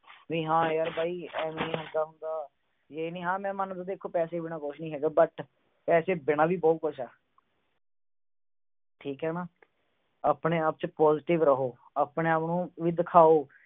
ਨਹੀਂ ਹਾਂ ਯਾਰ ਬਈ, ਐਵੇਂ ਹੀ ਹੁੰਦਾ ਹੁੰਦਾ। ਮੈਂ ਮੰਨਦਾ ਪੈਸੇ ਬਿਨਾਂ ਕੁਛ ਨੀ ਹੈਗਾ but ਪੈਸੇ ਬਿਨਾਂ ਵੀ ਬਹੁਤ ਕੁਛ ਆ। ਠੀਕ ਆ ਨਾ। ਆਪਣੇ-ਆਪ ਚ positive ਰਹੋ। ਆਪਣੇ-ਆਪ ਨੂੰ ਵੀ ਦਿਖਾਓ।